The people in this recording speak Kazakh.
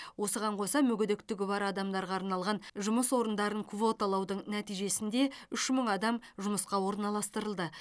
осыған қоса мүгедектігі бар адамдарға арналған жұмыс орындарын квоталаудың нәтижесінде үш мың адам жұмысқа орналастырылды